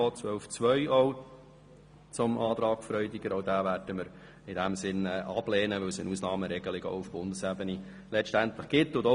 Wir werden ebenso den Antrag von Grossrat Freudiger zu Artikel 12 Absatz 2 ablehnen, weil auf Bundesebene eine Ausnahmeregelung besteht.